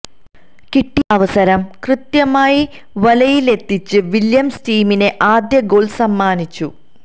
കിട്ടിയ അവസരം കൃത്യമായി വലയിലെത്തിച്ച് വില്യംസ് ടീമിന് ആദ്യ ഗോൾ സമ്മാനിച്ചു